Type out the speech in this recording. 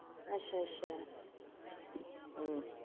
ਅੱਛਾ ਅੱਛਾ ਹਮ